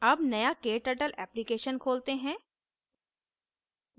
अब नया kturtle application खोलते हैं